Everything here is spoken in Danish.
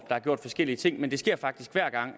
har gjort forskellige ting men det sker faktisk hver gang